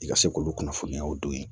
I ka se k'olu kunnafoniyaw don yen